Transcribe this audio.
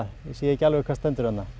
ég sé ekki alveg hvað stendur þarna